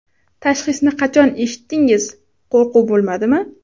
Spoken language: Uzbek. Tashxisni qachon eshitdingiz, qo‘rquv bo‘lmadimi ?